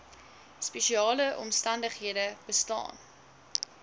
spesiale omstandighede bestaan